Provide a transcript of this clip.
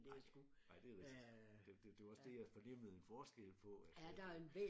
Nej nej det er rigtigt det det var også det jeg fornemmede en forskel på at at